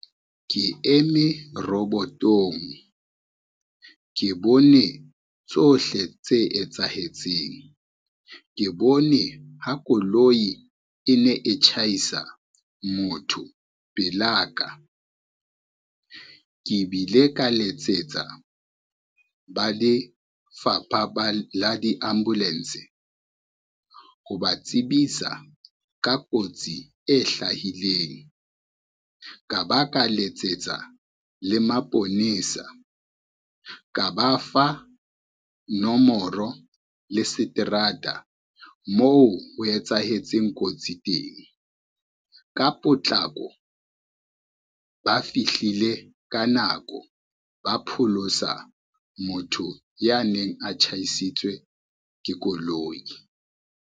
Ke eme robotong, ke bone tsohle tse etsahetseng, ke bone ha koloi e ne e tjhaisa motho pelaka. Ke bile ka letsetsa, ba le fapa la di-ambulance, ho ba tsebisa ka kotsi e ka ba ka letsetsa le maponesa ka ba fa nomoro le seterata moo ho etsahetseng kotsi teng. Ka potlako ba fihlile ka nako, ba pholosa motho ya neng a tjhaisitswe ke koloi.